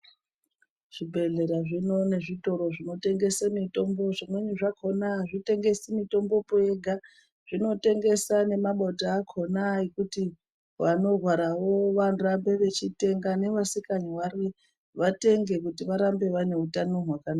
Zvibhedhlera zvino nezvitoro zvinotengese mitombo, zvimweni zvakhona azvitengesi mitombo pi yega, zvinotengesa nemabota akhona ekuti vanorwarawo vanorambe vechitenga nevasikarwari vanenge kuti varambe vane utano hwakanaka.